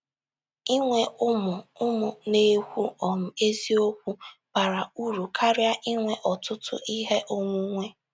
Inwe ụmụ ụmụ na - ekwu um eziokwu bara uru karịa inwe ọtụtụ ihe onwunwe. ”